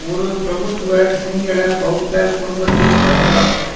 ஒரு பிரபுத்துவ சிங்கள பெளத்த குடும்பத்தில் பிறந்தார்